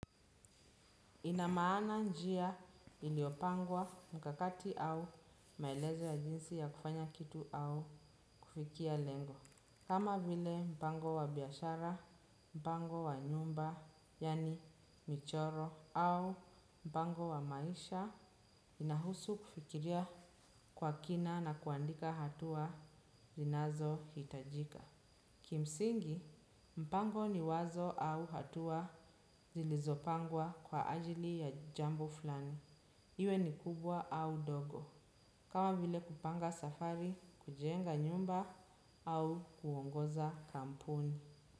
Ina maana njia iliyopangwa mkakati au maelezo ya jinsi ya kufanya kitu au kufikia lengo. Kama vile mpango wa biashara, mpango wa nyumba, yaani michoro, au mpango wa maisha, inahusu kufikiria kwa kina na kuandika hatua zinazo hitajika. Kimsingi, mpango ni wazo au hatua zilizopangwa kwa ajili ya jambo flani. Iwe ni kubwa au dogo. Kama vile kupanga safari, kujenga nyumba au kuongoza kampuni.